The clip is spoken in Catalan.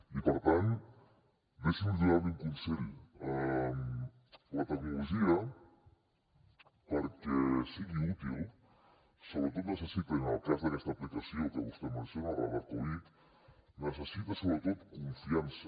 i per tant deixi’m donar li un consell la tecnologia perquè sigui útil sobretot necessita i en el cas d’aquesta aplicació que vostè menciona radar covid necessita sobretot confiança